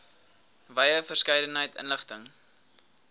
wye verskeidenheid inligting